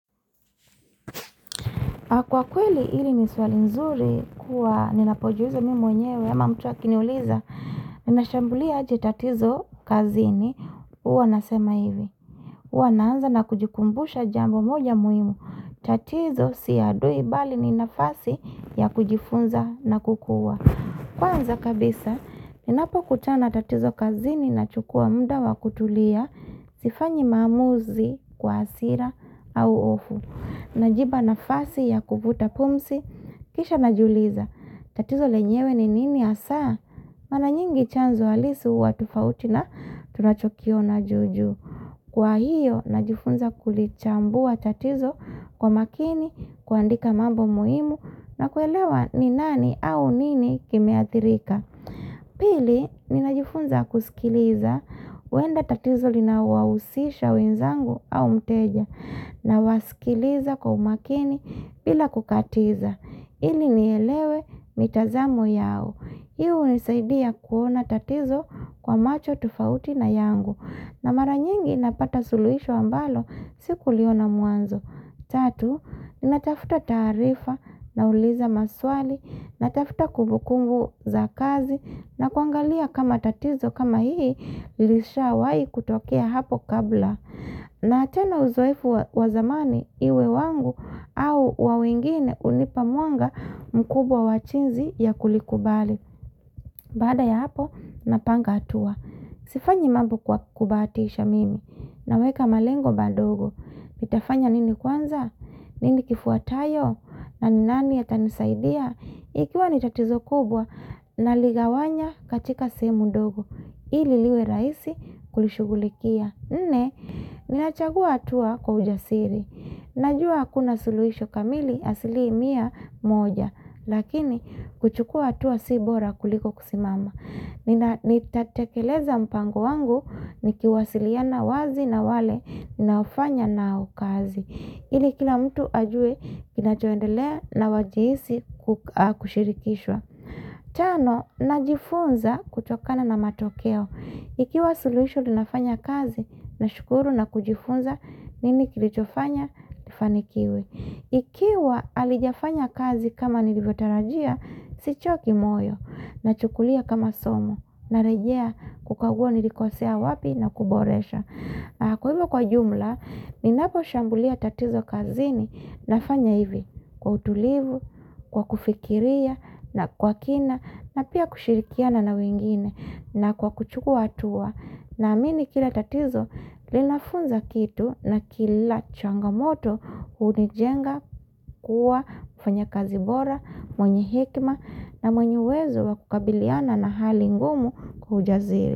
Kwa kweli hili ni swali nzuri, kuwa ninapojiuliza mimi mwenyewe ama mtu akiniuliza, ninashambulia aje tatizo kazini, huwa nasema hivi. Huwa naanza na kujikumbusha jambo moja muhimu. Tatizo sio adui bali ni nafasi ya kujifunza na kukua. Kwanza kabisa, ninapokutana tatizo kazini nachukua muda wa kutulia, sifanyi maamuzi kwa hasira au hofu. Najipa nafasi ya kuvuta pumsi, kisha najiuliza, tatizo lenyewe ni nini hasaa? Mara nyingi chanzo halisu huwa tofauti na tunachokiona juu juu. Kwa hiyo, najifunza kulichambua tatizo kwa makini, kuandika mambo muhimu na kuelewa ni nani au nini kimeathirika. Pili, ninajifunza kusikiliza, huenda tatizo linawahusisha wenzangu au mteja, nawasikiliza kwa umakini bila kukatiza, ili nielewe mitazamo yao. Hii hunisaidia kuona tatizo kwa macho tofauti na yangu, na mara nyingi napata suluhisho ambalo sikuliona mwanzo. Tatu, natafuta taarifa, nauliza maswali, natafuta kumbukunbu za kazi, na kuangalia kama tatizo kama hii, ilishawahi kutokea hapo kabla. Na tena uzoefu wa zamani, iwe wangu au wa wengine hunipa mwanga mkubwa wa jinzi ya kulikubali. Baada ya hapo, napanga hatua. Sifanyi mambo kwa kubahatisha mimi, naweka malengo madogo. Nitafanya nini kwanza? Nini kifuatayo? Na ni nani atanisaidia? Ikiwa ni tatizo kubwa naligawanya katika sehemu ndogo. Ili liwe rahisi kulishugulikia. Nne, ninachagua hatua kwa ujasiri Najua hakuna suluhisho kamili asilimia moja. Lakini, kuchukua hatua si bora kuliko kusimama Nitatakeleza mpango wangu nikiwasiliana wazi na wale nafanya nao kazi. Ili kila mtu ajue kinachoendelea na wajihisi kushirikishwa. Tano, najifunza kutokana na matokeo. Ikiwa suluhisho linafanya kazi, nashukuru na kujifunza, nini kilichofanya, ifanikiwe. Ikiwa halijafanya kazi kama nilivyotarajia, sichoki moyo, nachukulia kama somo, narejea kukagua nilikosea wapi na kuboresha. Kwa hivyo kwa jumla, ninapo shambulia tatizo kazini nafanya hivi, kwa utulivu, kwa kufikiria, na kwa kina, na pia kushirikiana na wengine, na kwa kuchukua hatua, naamini kila tatizo linafunza kitu na kila changamoto hunijenga kuwa mfanya kazi bora, mwenye hekima, na mwenye uwezo wa kukabiliana na hali ngumu kwa ujasiri.